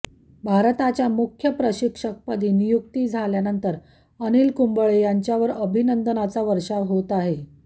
भारताच्या मुख्य प्रशिक्षकपदी नियुक्ती झाल्यानंतर अनिल कुंबळे यांच्यावर अभिनंदनाचा वर्षाव होत आहे